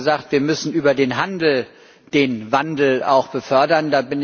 Sie haben gesagt, wir müssen über den Handel den Wandel auch befördern.